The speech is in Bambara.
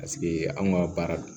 Paseke anw ka baara don